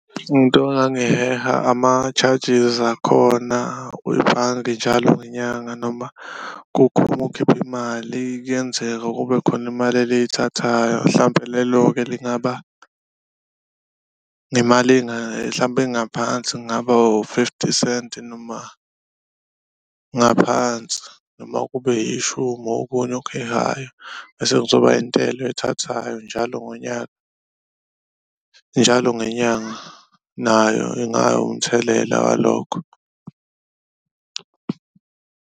Into engangiheha ama-charges akhona kwibhange jalo ngenyanga noma uma ukhipha imali kuyenzeka kube khona imali eliyithathayo mhlampe lelo-ke lingaba nemali mhlampe engaphansi, kungaba u-fifty senti noma ngaphansi noma kube ishumi okunye okuhehayo. Bese kuzoba intela oyithathayo njalo ngonyaka, njalo ngenyanga nayo ingawumthelela walokho.